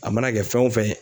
A mana kɛ fɛn wo fɛn ye